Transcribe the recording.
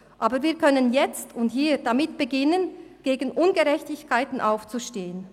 Aber wir können jetzt und hier damit beginnen, gegen Ungerechtigkeiten aufzustehen.